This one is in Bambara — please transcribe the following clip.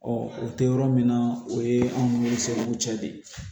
o tɛ yɔrɔ min na o ye anw ni seeriw cɛ de ye